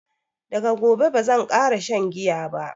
Daga gobe bazan ƙara shan giya ba